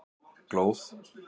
Glóð